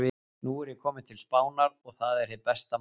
Nú er ég kominn til Spánar. og það er hið besta mál.